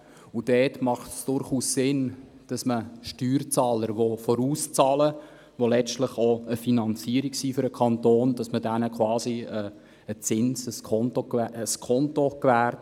Dabei ist es durchaus sinnvoll, dass man Steuerzahlern, die vorauszahlen und schliesslich für den Kanton eine Finanzierung darstellen, Skonto gewährt.